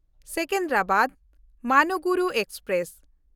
Secunderabad Manuguru express